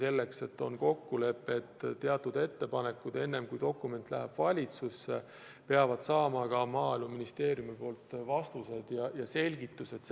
On nimelt kokkulepe, et teatud ettepanekud, enne kui dokument läheb valitsusse, peavad saama Maaeluministeeriumilt vastused ja selgitused.